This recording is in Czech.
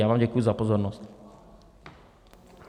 Já vám děkuji za pozornost.